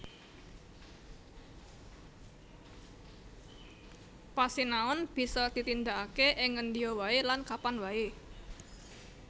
Pasinaon bisa ditindakake ing ngendia wae lan kapan wae